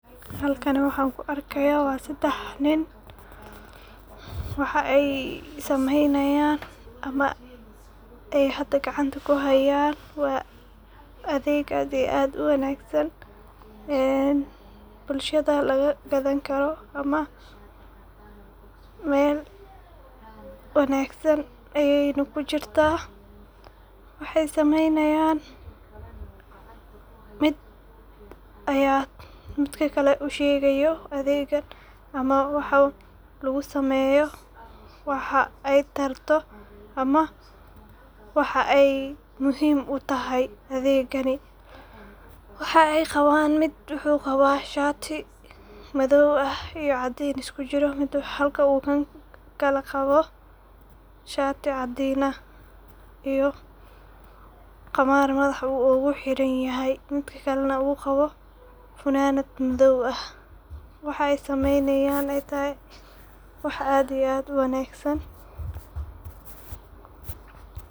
Halkan waxan ku arkaya waa sedex nin, waxay sameeynayan ama ay hada gacanta kuhayan waa adeeg aad iyo aad uwanaagsan ee bulshada laga gadan karo, Mel wanaagsan ayna kujirta, waxay sameeynayan mid aya midka kale ushegayo adeeggan ama waxa lugusameeyo waxa ay tarto ama waxa ay muhim utahay adeeggani ,waxay qabaan, mid wuxuu qawaa Station madow ah iyo caadin isku jiro halka uu kan kale na qabo shati caadin ah iyo qamaar madax u ogu xiranyahay midka kale na uu qabo funanad madow ah, waxay saneeynayan ay tahay wax aad iyo aad uwanaagsan